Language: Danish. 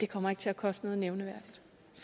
kommer til at koste noget nævneværdigt